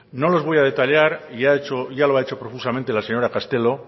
no las voy a detallar ya lo ha hecho profusamente la señora castelo